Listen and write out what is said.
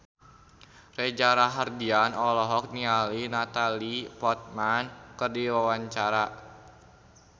Reza Rahardian olohok ningali Natalie Portman keur diwawancara